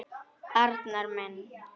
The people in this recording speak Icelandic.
Arnar minn.